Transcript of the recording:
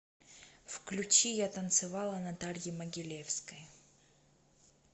включи я танцевала натальи могилевской